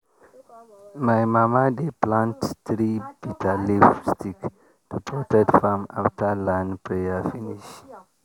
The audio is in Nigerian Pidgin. my mama dey plant three bitterleaf stick to protect farm after land prayer finish.